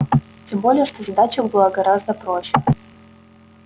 тем более что задача была гораздо проще